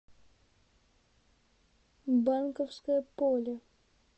банковское поле